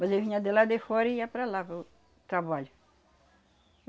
Mas eu vinha de lá de fora e ia para lá, para o trabalho.